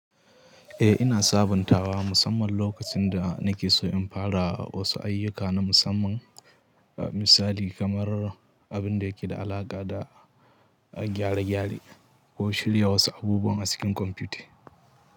Eh, ina sabuntawa musamman lokacin da nake so in fara wasu ayyuka na musamman misali kamar abin da yake da alaƙa da gyare-gyare, ko shirya wasu abubuwan a cikin kwamfuta.